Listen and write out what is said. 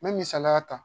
Me misaliya ta